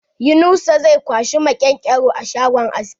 Yunusa zai kwashi maƙenƙero a shangon aski.